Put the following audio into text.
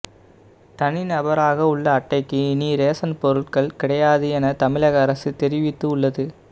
தனி நபராக உள்ள அட்டைக்கு இனி ரேஷன் பொருட்கள் கிடையாது என தமழக அரசு தெரிவித்து உள்ளது